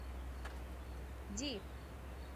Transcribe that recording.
ди